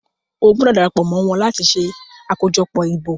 O gbọdọ darapo mọ wón là tí ṣe ṣe akojọpọ ìbò!